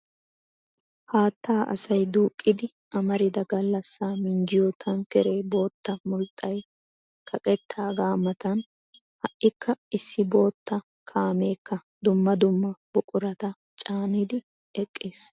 Haattaa asay duuqqidi amarida gallassaa minjjiyo tankkeree bootta mulxxay kaqeettaagaa matan ha"ikka issi bootta kaameekka dumma dumma buqurata caanidi eqqiis.